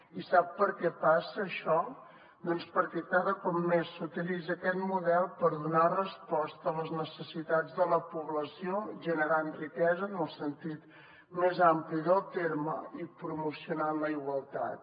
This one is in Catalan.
i sap per què passa això doncs perquè cada cop més s’utilitza aquest model per donar resposta a les necessitats de la població generant riquesa en el sentit més ampli del terme i promocionant la igualtat